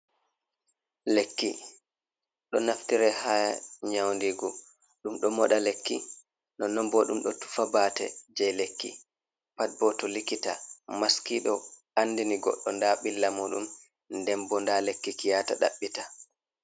Lekki ɗo naftire ha nyaundigu. Ɗum ɗo moɗa lekki, nonon bo ɗum ɗo tufa bate je lekki. Pat bo to likita, maskiɗo andini goɗɗo nda billa muɗum, nden bo nda lekki ki yata ɗaɓɓita.